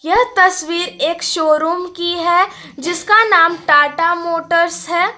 यह तस्वीर एक शोरूम की है जिसका नाम टाटा मोटर्स है।